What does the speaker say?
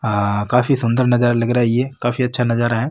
आ काफी सुन्दर नजरा लग रहा है ये काफी अच्छा नजारा है